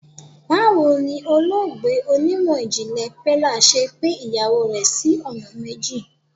Báwo ni olóògbé onímọ̀ ìjìnlè Pella ṣe pín ìyàwó rẹ̀ sí ọ̀nà méjì.